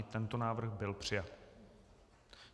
I tento návrh byl přijat.